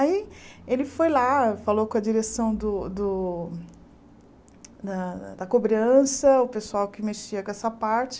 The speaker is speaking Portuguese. Aí ele foi lá, falou com a direção do do da da cobrança, o pessoal que mexia com essa parte.